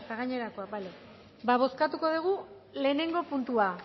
gainerakoak ba bozkatuko dugu lehenengo puntua